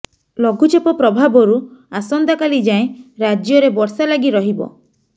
ଲଘୁଚାପ ପ୍ରଭାବରୁ ଆସନ୍ତାକାଲି ଯାଏଁ ରାଜ୍ୟରେ ବର୍ଷା ଲାଗି ରହିବ